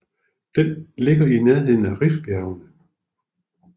Den ligger i nærheden af Rifbjergene